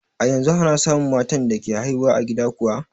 A yanzu ana samun matan da ke haihu a gida kuwa?